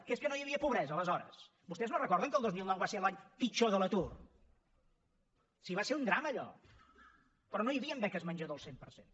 que és que no hi havia pobresa aleshores vostès no recorden que el dos mil nou va ser l’any pitjor de l’atur si va ser un drama allò però no hi havien beques menjador al cent per cent